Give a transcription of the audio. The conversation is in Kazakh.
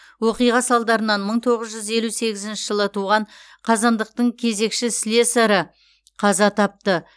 оқиға салдарынан мың тоғыз жүз елу сегізінші жылы туған қазандықтың кезекші слесары қаза тапты